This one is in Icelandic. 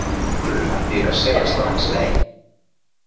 Af hverju ætti ég að segja strax nei?